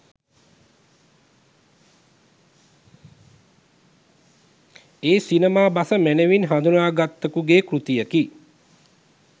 ඒ සිනමා බස මැනවින් හඳුනාගත්තකුගේ කෘතියකි.